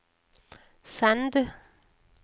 send